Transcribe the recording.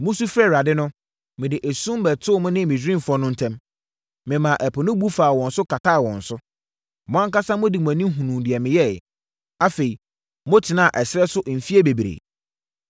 Mosu frɛɛ Awurade no, mede esum bɛtoo mo ne Misraimfoɔ no ntam, memaa Ɛpo no bu faa wɔn so kataa wɔn so. Mo ankasa mode mo ani hunuu deɛ meyɛeɛ. Afei motenaa ɛserɛ so mfeɛ bebree.